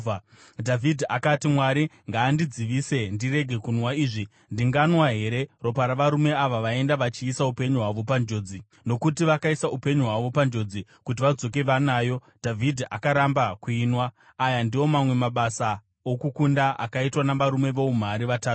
Dhavhidhi akati, “Mwari ngaandidzivise ndiregere kunwa izvi! Ndinganwa here ropa ravarume ava vaenda vachiisa upenyu hwavo panjodzi?” Nokuti vakaisa upenyu hwavo panjodzi kuti vadzoke vanayo, Dhavhidhi akaramba kuinwa. Aya ndiwo mamwe amabasa okukunda akaitwa navarume voumhare vatatu.